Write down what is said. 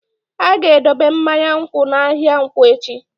A ga-edobe mmanya nkwụ n'ahịa nkwo echi.